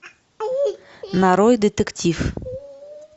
нарой детектив